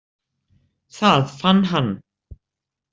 Það fann hann.